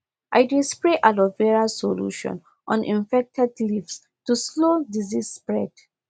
i dey spray aloe vera solution on infected leaves to slow disease spread